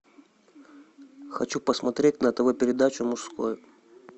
хочу посмотреть на тв передачу мужской